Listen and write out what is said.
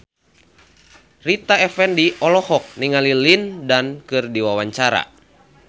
Rita Effendy olohok ningali Lin Dan keur diwawancara